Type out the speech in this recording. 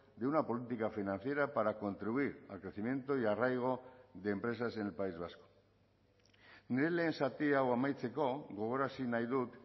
de una política financiera para contribuir al crecimiento y arraigo de empresas en el país vasco nire lehen zati hau amaitzeko gogorarazi nahi dut